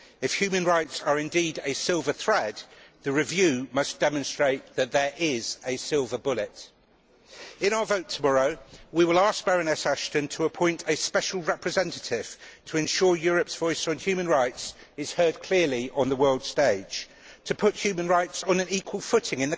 If human rights are indeed a silver thread, the review must demonstrate that there is a silver bullet. In our vote tomorrow, we shall ask Baroness Ashton to appoint a special representative to ensure that Europe's voice on human rights is heard clearly on the world stage and that human rights are put on an equal footing